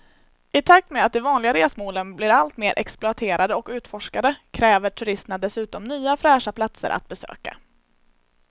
I takt med att de vanliga resmålen blir allt mer exploaterade och utforskade kräver turisterna dessutom nya fräscha platser att besöka.